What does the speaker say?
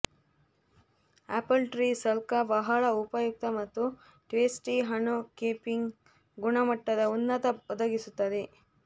apple tree ಸ್ಕಲಾ ಬಹಳ ಉಪಯುಕ್ತ ಮತ್ತು ಟೇಸ್ಟಿ ಹಣ್ಣು ಕೀಪಿಂಗ್ ಗುಣಮಟ್ಟದ ಉನ್ನತ ಒದಗಿಸುತ್ತದೆ